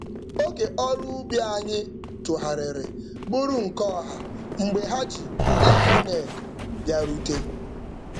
Oge ọrụ ubi anyị tụgharịrị bụrụ nke ọha mgbe ha ji lemọned bịarute.